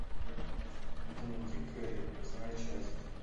дневники кэрри восьмая часть